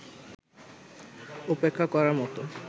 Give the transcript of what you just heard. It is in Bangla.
উপেক্ষা করার মতো